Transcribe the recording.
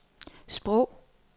sprog